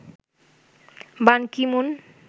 বান Ki-moon